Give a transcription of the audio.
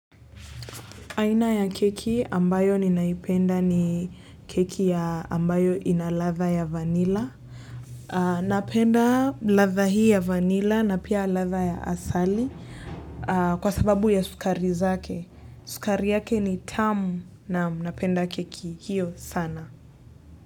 Aina ya keki ambayo ninaipenda ni keki ya ambayo ina ladha ya vanila. Napenda ladha hii ya vanila na pia ladha ya asali kwa sababu ya sukari zake. Sukari yake ni tamu naam napenda keki hiyo sana.